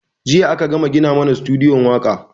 Jiya a ka gama gina mana sutudiyo waƙa